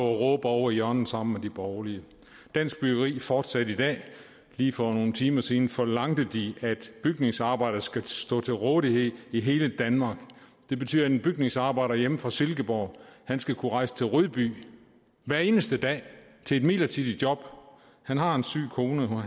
og råbe ovre i hjørnet sammen med de borgerlige dansk byggeri fortsatte i dag lige for nogle timer siden forlangte de at bygningsarbejdere skal stå til rådighed i hele danmark det betyder at en bygningsarbejder hjemme fra silkeborg skal kunne rejse til rødby hver eneste dag til et midlertidigt job han har en syg kone